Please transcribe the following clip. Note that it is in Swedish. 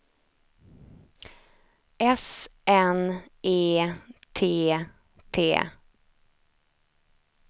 S N E T T